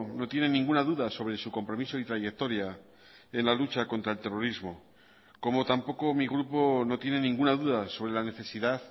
no tiene ninguna duda sobre su compromiso y trayectoria en la lucha contra el terrorismo como tampoco mi grupo no tiene ninguna duda sobre la necesidad